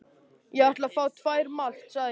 Ég ætla að fá tvær malt, sagði ég.